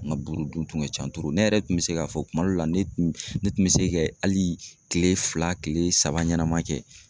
N ka buru dun kun ka ca ne yɛrɛ tun bɛ se k'a fɔ kuma dɔ la ne tun ne tun bɛ se kɛ hali kile fila kile saba ɲɛnama kɛ.